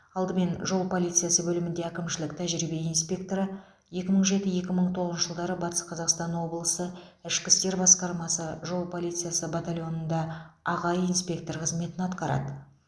алдымен жол полициясы бөлімінде әкімшілік тәжірибе инспекторы екі мың жеті екі мың тоғызыншы жылдары батыс қазақстан облысы ішкі істер басқармасы жол полициясы батальонында аға инспектор қызметін атқарды